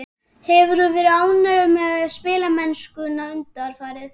Hefur þú verið ánægður með spilamennskuna undanfarið?